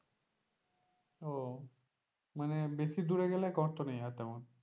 ও মানে বেশি দূরে গেলে গর্ত নেই আর তেমন,